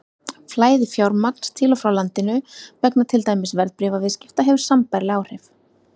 Flæði fjármagns til og frá landinu vegna til dæmis verðbréfaviðskipta hefur sambærileg áhrif.